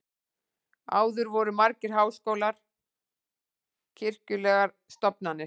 áður voru margir háskólar kirkjulegar stofnanir